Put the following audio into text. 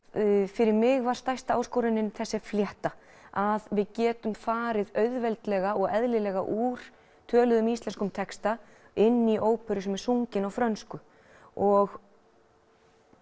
fyrir mig var stærsta áskorunin þessi flétta að við getum farið auðveldlega og eðlilega úr töluðum íslenskum texta inn í óperu sem er sungin á frönsku og